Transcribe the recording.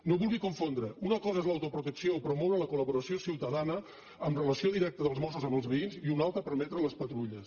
no vulgui confondre una cosa és l’autoprotecció promoure la col·laboració ciutadana amb relació directa dels mossos amb els veïns i una altra permetre les patrulles